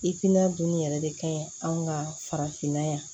dun yɛrɛ de ka ɲi anw ka farafinna yan